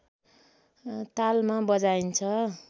तालमा बजाइन्छ